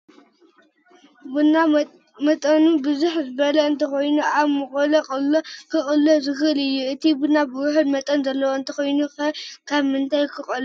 ቡና መጠኑ ብዝሕ ዝበለ እንተኾይኑ ኣብ መቑሎ ክቕሎ ይኽእል እዩ፡፡ እቲ ቡና ውሑድ መጠን ዘለዎ እንተኾይኑ ኸ ኣብ ምንታይ ክቑሎ ይኽእል?